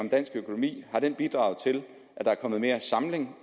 i dansk økonomi bidraget til at der er kommet mere samling